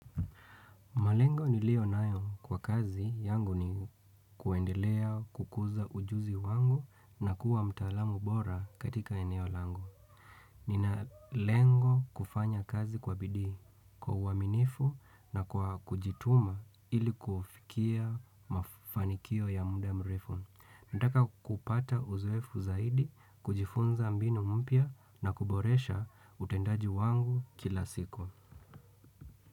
Malengo niliyo nayo kwa kazi yangu ni kuendelea kukuza ujuzi wangu na kuwa mtaalamu bora katika eneo lango. Nina lengo kufanya kazi kwa bidii kwa uaminifu na kwa kujituma ili kufikia mafanikio ya muda mrefu. Nataka kupata uzoefu zaidi, kujifunza mbinu mpya na kuboresha utendaji wangu kila siku.